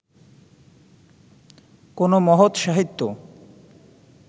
কোনো মহৎ সাহিত্য